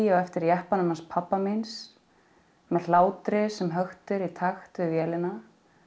á eftir jeppanum hans pabba míns með hlátri sem höktir í takt við vélina